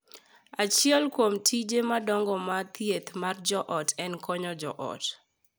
Achiel kuom tije madongo mag thieth mar joot en konyo joot .